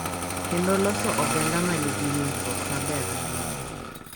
Kendo loso oganda ma nigi winjruok maber moloyo.